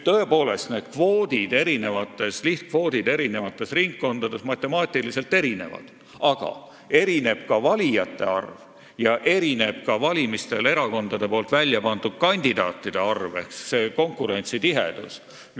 Lihtkvoodid on eri ringkondades tõesti matemaatiliselt erinevad, aga erinev on ka valijate arv, samuti erakondade välja pandud kandidaatide hulk ehk konkurentsitihedus.